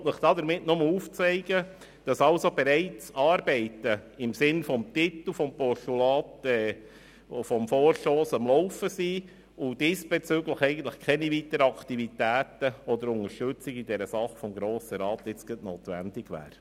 Ich will Ihnen damit nur aufzeigen, dass bereits Arbeiten im Sinne des Titels des Vorstosses am Laufen sind und diesbezüglich eigentlich keine weiteren Aktivitäten und keine Unterstützung dieser Sache seitens des Grossen Rats notwendig wären.